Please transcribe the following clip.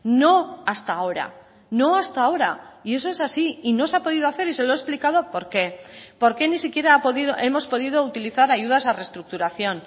no hasta ahora no hasta ahora y eso es así y no se ha podido hacer y se lo he explicado por qué por qué ni siquiera hemos podido utilizar ayudas a reestructuración